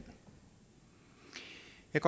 jeg